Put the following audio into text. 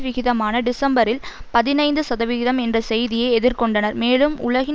விகிதமான டிசம்பரில் பதினைந்து சதவிகிதம் என்ற செய்தியை எதிர்கொண்டனர் மேலும் உலகின்